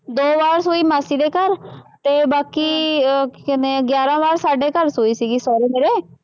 ਦੋ ਵਾਰ ਸੂਈ ਮਾਸੀ ਦੇ ਘਰ ਅਤੇ ਬਾਕੀ ਅਹ ਕੀ ਕਹਿੰਦੇ ਹੈ ਗਿਆਰਾਂ ਵਾਰ ਸਾਡੇ ਘਰ ਸੂਈ ਸੀਗੀ, ਸਹੁਰੇ ਮੇਰੇ,